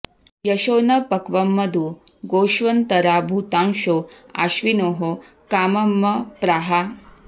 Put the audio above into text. यशो॒ न प॒क्वं मधु॒ गोष्व॒न्तरा भू॒तांशो॑ अ॒श्विनोः॒ काम॑मप्राः